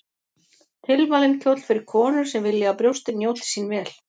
Tilvalinn kjóll fyrir konur sem vilja að brjóstin njóti sín vel.